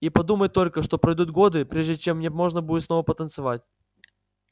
и подумать только что пройдут годы прежде чем мне можно будет снова потанцевать